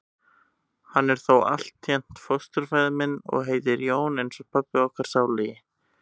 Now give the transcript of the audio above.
Hann er þó altént fósturfaðir minn. og heitir Jón eins og pabbi okkar sálugi.